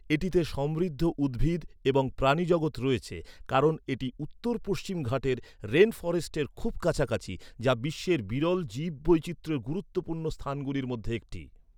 এটিতে সমৃদ্ধ উদ্ভিদ এবং প্রাণীজগৎ রয়েছে কারণ এটি উত্তর পশ্চিম ঘাটের রেন ফরেস্টের খুব কাছাকাছি, যা বিশ্বের বিরল জীববৈচিত্র্যের গুরুত্বপূর্ণ স্থানগুলির মধ্যে একটি।